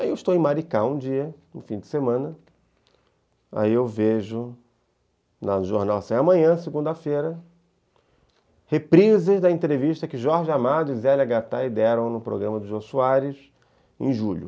Aí eu estou em Maricá um dia, no fim de semana, aí eu vejo no jornal, assim: Amanhã, segunda-feira, reprises da entrevista que Jorge Amado e Zélia Gattai deram no programa do Jô Soares em julho.